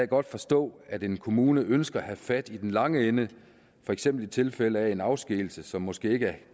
godt forstå at en kommune ønsker at have fat i den lange ende for eksempel i tilfælde af en afskedigelse som måske ikke er